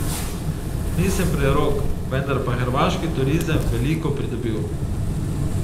Nisem prerok, vendar bo hrvaški turizem veliko pridobil.